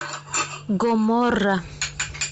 гоморра